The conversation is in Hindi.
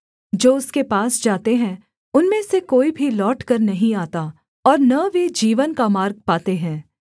जो उसके पास जाते हैं उनमें से कोई भी लौटकर नहीं आता और न वे जीवन का मार्ग पाते हैं